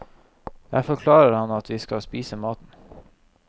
Jeg forklarer at vi skal spise maten.